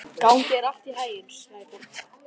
Gangi þér allt í haginn, Sæborg.